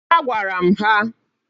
A gwara m ha.